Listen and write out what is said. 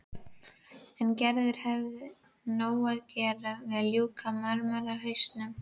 En Gerður hefur nóg að gera við að ljúka marmarahausnum.